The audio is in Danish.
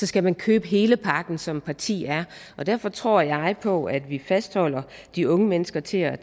skal man købe hele pakken som et parti er derfor tror jeg på at vi fastholder de unge mennesker til at